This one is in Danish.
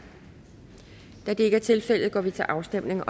da det ikke er tilfældet går vi til afstemning